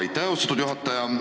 Aitäh, austatud juhataja!